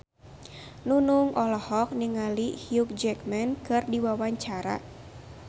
Nunung olohok ningali Hugh Jackman keur diwawancara